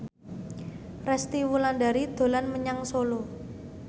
Resty Wulandari dolan menyang Solo